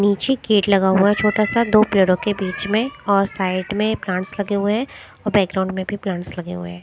नीचे गेट लगा हुआ है छोटा सा दो पेड़ों के बीच में और साइड में प्लांटस लगे हुए हैं और बैकग्राउंड में भी प्लांट्स लगे हुए है।